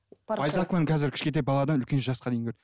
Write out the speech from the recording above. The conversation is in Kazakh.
байзақованы қазір кішкентай баладан үлкен жасқа дейін көреді